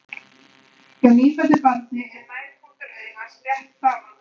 Hjá nýfæddu barni er nærpunktur augans rétt framan við augun.